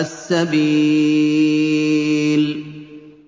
السَّبِيلِ